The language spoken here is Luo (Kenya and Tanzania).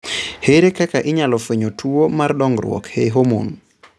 Ere kaka inyalo fweny tuo mar dongruok e homon?